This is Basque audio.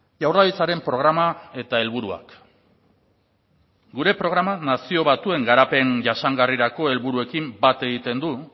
jaurlaritzaren programa eta helburuak gure programa nazio batuen garapen jasangarrirako helburuekin bat egiten du